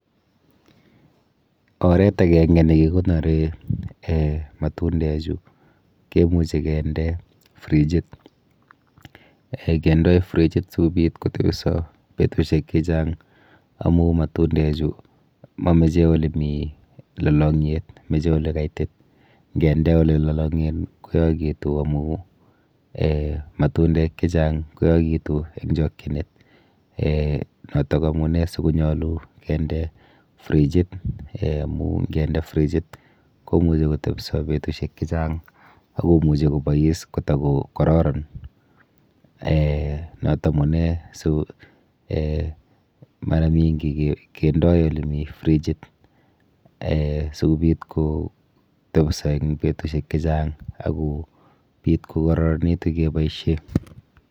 Oret akenke nekikonore um matundechu kemuchi kende frigit. um Kendoi frigit sikobit kotebisko betushek chechang amu matundechu mameche olemi lalang'yet, meche olekaitit. Nkende olelolong'en koyokitu amu um matundek chechang koyokitu eng chokchinet um notok amune sikonyolu kende frigit um amu nkende frigit komuchi kotebiso betushek chechang akomuchi kobois kotakokororon um not amune si um mara mingi kendoi olemi frigit um sikobit kotebiso eng betushek chechang akobit kokororonitu keboishe.